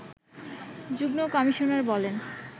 যুগ্ম কমিশনার বলেন